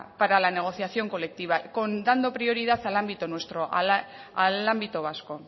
para la negociación colectiva contando prioridad al ámbito nuestro al ámbito vasco